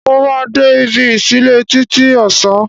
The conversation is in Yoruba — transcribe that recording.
Mo máa de ibi ìsílẹ́ títí ọ̀sán